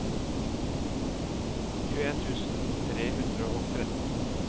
tjueen tusen tre hundre og tretten